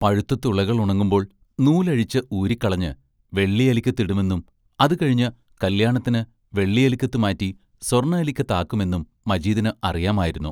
പഴുത്ത് തുളകൾ ഉണങ്ങുമ്പോൾ നൂലഴിച്ച് ഊരിക്കളഞ്ഞ് വെള്ളി അലിക്കത്ത് ഇടുമെന്നും അതു കഴിഞ്ഞ് കല്യാണത്തിന് വെള്ളി അലിക്കത്ത് മാറ്റി സ്വർണ്ണ അലിക്കത്താക്കുമെന്നും മജീദിന് അറിയാമായിരുന്നു.